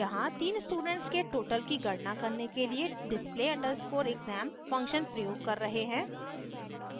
यहाँ तीन स्टूडेंट्स के total की गणना करने के लिए display _ exam function प्रयोग कर रहे हैं